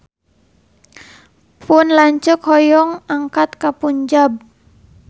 Pun lanceuk hoyong angkat ka Punjab